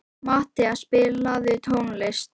Matthea, spilaðu tónlist.